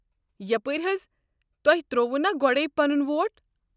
یپٲرۍ حظ، تۄہہ ترٛوووٕ نا گۄڑے پنُن ووٹ؟